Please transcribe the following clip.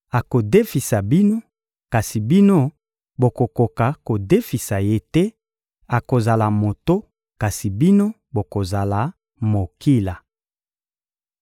akodefisa bino, kasi bino bokokoka kodefisa ye te; akozala moto, kasi bino bokozala mokila.